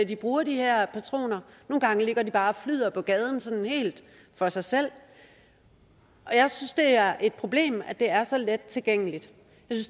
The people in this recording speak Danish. de bruger de her patroner nogle gange ligger de bare og flyder på gaden sådan helt for sig selv jeg synes det er et problem at det er så let tilgængeligt